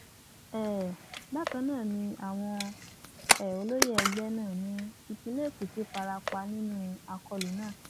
um bákan náà ni àwọn um olóyè ẹgbẹ náà ní ìpínlẹ èkìtì fara pa nínú akólú náà